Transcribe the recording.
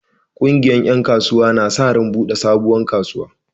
Ƙungiyar ƴan kasuwa na sa ran buɗe sabuwar kasuwa.